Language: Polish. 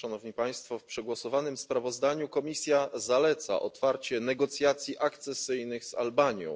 W przegłosowanym sprawozdaniu Komisja zaleca otwarcie negocjacji akcesyjnych z Albanią.